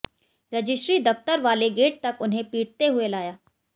registry दफ्तर वाले gate तक उन्हें पीटते हुए लाया